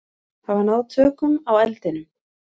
Hafa náð tökum á eldinum